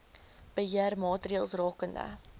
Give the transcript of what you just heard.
beheer maatreëls rakende